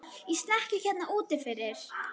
Í snekkju hérna úti fyrir!